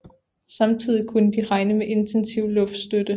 Samtidig kunne de regne med intensiv luftstøtte